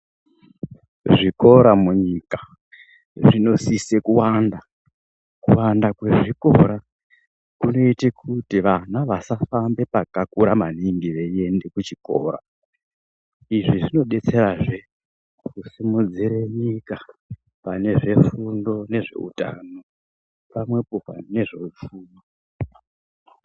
Zvikora munyika zvinosise kuwanda. Kuwanda mwezvikora kunoite kuti vana vasafamba pakakura maningi veienda kuchikora. Izvi zvinodetserazve kusimudzire nyika pane zvefundo nezveutano. Pamwepo nezveupfumi.